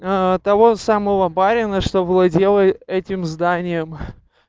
того самого барина что владел этим зданием